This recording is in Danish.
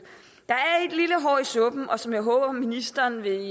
suppen som jeg håber ministeren vil